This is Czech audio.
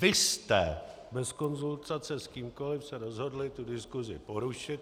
Vy jste bez konzultace s kýmkoliv se rozhodli tu diskusi porušit.